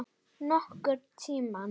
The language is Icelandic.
Nokkurn tímann.